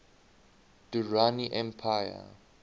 durrani empire